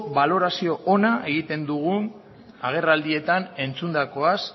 balorazio ona egiten dugun agerraldietan entzundakoaz